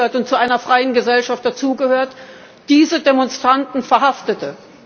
Leben und zu einer freien Gesellschaft dazugehört, diese Demonstranten verhaftete.